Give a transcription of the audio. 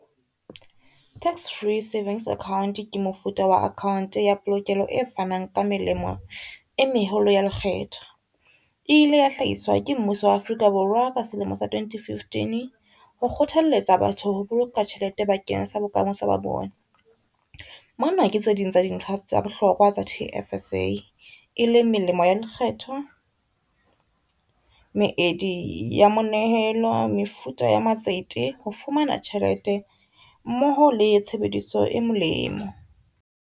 Tax Free Savings Account ke mofuta wa account ya polokelo e fanang ka melemo e meholo ya lekgetho. E ile ya hlahiswa ke mmuso wa Afrika Borwa ka selemo sa 2015. Ho kgothaletsa batho ho boloka tjhelete ba keng sa bokamoso ba bona. Mona ke tse ding tsa dintlha tsa bohlokwa tsa T_F_S_A e leng melemo ya lekgetho, meedi ya monehelo, mefuta ya matsete ho fumana tjhelete mmoho le tshebediso e molemo.